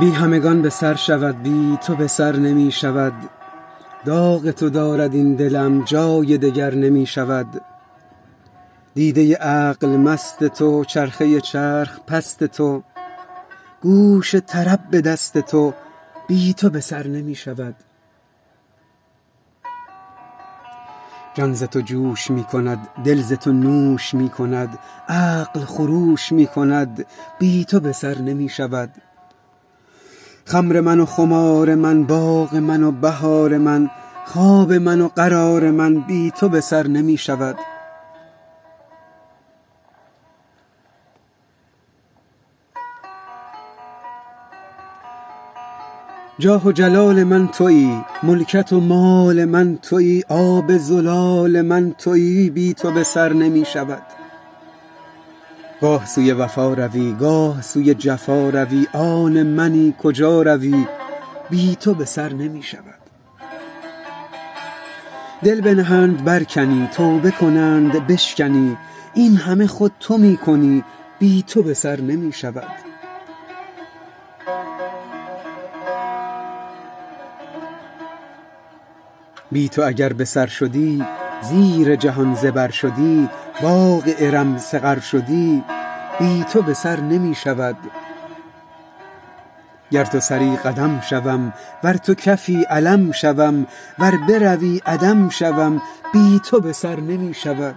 بی همگان به سر شود بی تو به سر نمی شود داغ تو دارد این دلم جای دگر نمی شود دیده عقل مست تو چرخه چرخ پست تو گوش طرب به دست تو بی تو به سر نمی شود جان ز تو جوش می کند دل ز تو نوش می کند عقل خروش می کند بی تو به سر نمی شود خمر من و خمار من باغ من و بهار من خواب من و قرار من بی تو به سر نمی شود جاه و جلال من تویی ملکت و مال من تویی آب زلال من تویی بی تو به سر نمی شود گاه سوی وفا روی گاه سوی جفا روی آن منی کجا روی بی تو به سر نمی شود دل بنهند برکنی توبه کنند بشکنی این همه خود تو می کنی بی تو به سر نمی شود بی تو اگر به سر شدی زیر جهان زبر شدی باغ ارم سقر شدی بی تو به سر نمی شود گر تو سری قدم شوم ور تو کفی علم شوم ور بروی عدم شوم بی تو به سر نمی شود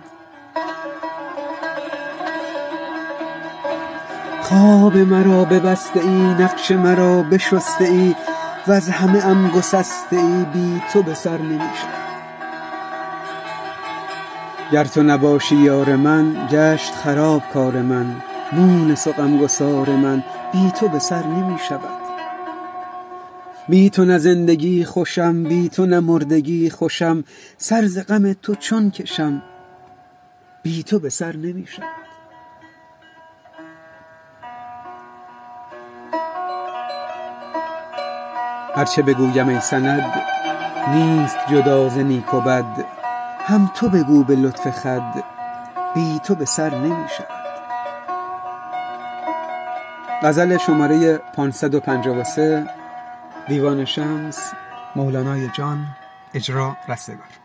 خواب مرا ببسته ای نقش مرا بشسته ای وز همه ام گسسته ای بی تو به سر نمی شود گر تو نباشی یار من گشت خراب کار من مونس و غم گسار من بی تو به سر نمی شود بی تو نه زندگی خوشم بی تو نه مردگی خوشم سر ز غم تو چون کشم بی تو به سر نمی شود هر چه بگویم ای سند نیست جدا ز نیک و بد هم تو بگو به لطف خود بی تو به سر نمی شود